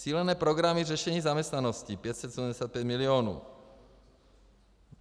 Cílené programy řešení zaměstnanosti 575 mil.